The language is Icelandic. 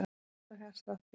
Ég hlusta á hjartslátt þinn.